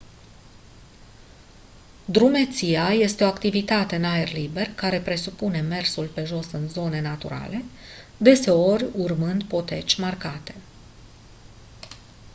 drumeția este o activitate în aer liber care presupune mersul pe jos în zone naturale deseori urmând poteci marcate